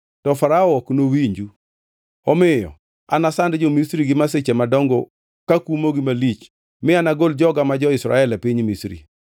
to Farao ok nowinju. Omiyo anasand jo-Misri gi masiche madongo kakumogi malich mi anagol joga ma jo-Israel e piny Misri.